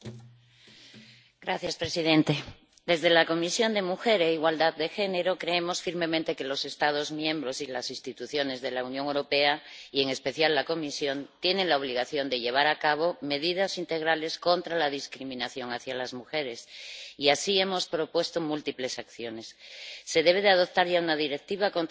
Señor presidente. Desde la Comisión de Derechos de la Mujer e Igualdad de Género creemos firmemente que los Estados miembros y las instituciones de la Unión Europea y, en especial, la Comisión tienen la obligación de aplicar medidas integrales contra la discriminación de las mujeres. Y así hemos propuesto múltiples acciones. Se debe adoptar ya una Directiva contra la discriminación.